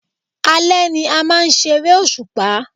Àlẹ́ ni a máa ń ṣeré òṣùpá